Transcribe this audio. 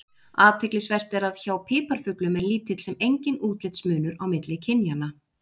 Athyglisvert er að hjá piparfuglum er lítill sem enginn útlitsmunur á milli kynjanna.